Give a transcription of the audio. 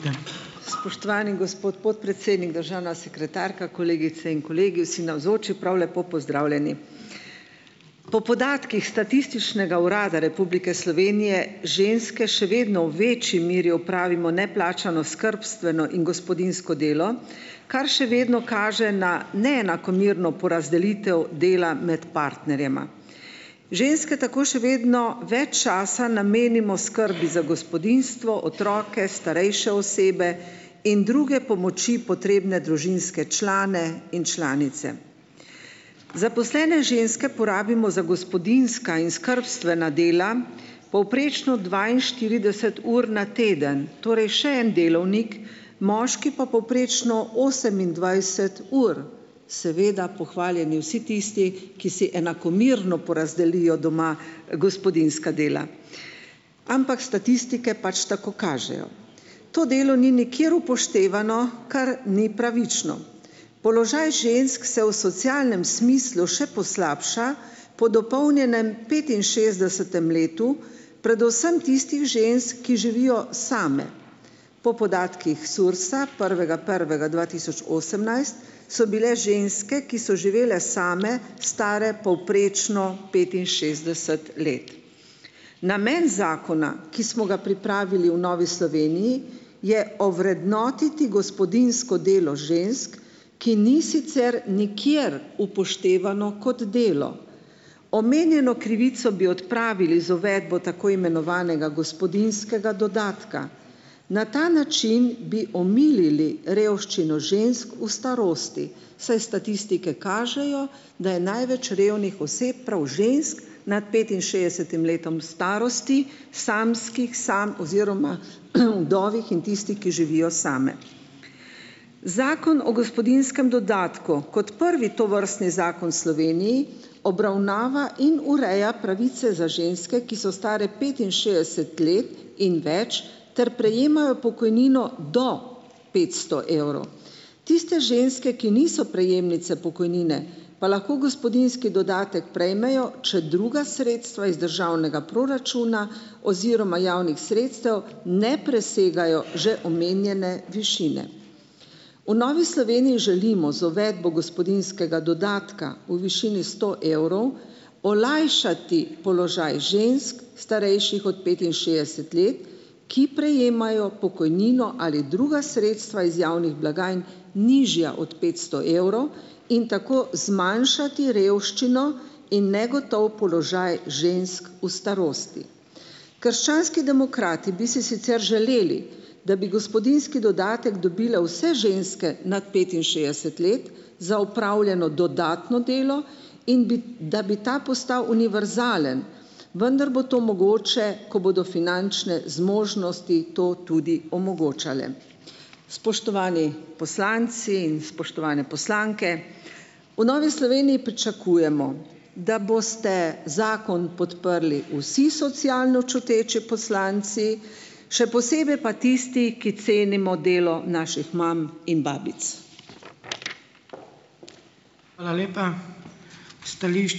Spoštovani gospod podpredsednik, državna sekretarka, kolegice in kolegi, vsi navzoči, prav lepo pozdravljeni! Po podatkih Statističnega urada Republike Slovenije ženske še vedno v večji meri opravimo neplačano skrbstveno in gospodinjsko delo, kar še vedno kaže na neenakomerno porazdelitev dela med partnerjema. Ženske tako še vedno več časa namenimo skrbi za gospodinjstvo, otroke, starejše osebe in druge pomoči potrebne družinske člane in članice. Zaposlene ženske porabimo za gospodinjska in skrbstvena dela povprečno dvainštirideset ur na teden, torej še en delovnik, moški pa povprečno osemindvajset ur, seveda pohvaljeni vsi tisti, ki si enakomerno porazdelijo doma gospodinjska dela, ampak statistike pač tako kažejo. To delo ni nikjer upoštevano, kar ni pravično. Položaj žensk se v socialnem smislu še poslabša po dopolnjenem petinšestdesetem letu, predvsem tistih žensk, ki živijo same. Po podatkih SURS-a, prvega prvega dva tisoč osemnajst, so bile ženske, ki so živele same, stare povprečno petinšestdeset let. Namen zakona, ki smo ga pripravili v Novi Sloveniji, je ovrednotiti gospodinjsko delo žensk, ki ni sicer nikjer upoštevano kot delo. Omenjeno krivico bi odpravili z uvedbo tako imenovanega gospodinjskega dodatka, na ta način bi omilili revščino žensk v starosti, saj statistike kažejo, da je največ revnih oseb prav žensk nad petinšestdesetim letom starosti, samskih samo oziroma vdov in tistih, ki živijo same. Zakon o gospodinjskem dodatku kot prvi tovrstni zakon v Sloveniji obravnava in ureja pravice za ženske, ki so stare petinšestdeset let in več ter prejemajo pokojnino do petsto evrov. Tiste ženske, ki niso prejemnice pokojnine, pa lahko gospodinjski dodatek prejmejo, če druga sredstva iz državnega proračuna oziroma javnih sredstev ne presegajo že omenjene višine. V Novi Sloveniji želimo z uvedbo gospodinjskega dodatka v višini sto evrov, olajšati položaj žensk, starejših od petinšestdeset let, ki prejemajo pokojnino ali druga sredstva iz javnih blagajn, nižja od petsto evrov in tako zmanjšati revščino in negotov položaj žensk v starosti. Krščanski demokrati bi si sicer želeli, da bi gospodinjski dodatek dobile vse ženske nad petinšestdeset let za opravljeno dodatno delo, in bi, da bi ta postal univerzalen, vendar bo to mogoče, ko bodo finančne zmožnosti to tudi omogočale. Spoštovani poslanci in spoštovane poslanke! v Novi Sloveniji pričakujemo, da boste zakon podprli vsi socialno čuteči poslanci, še posebej pa tisti, ki cenimo delo naših mam in babic.